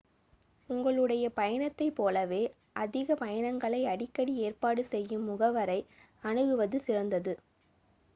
உங்களுடைய பயணத்தைப் போலவே அதிக பயணங்களை அடிக்கடி ஏற்பாடு செய்யும் முகவரை அணுகுவது சிறந்தது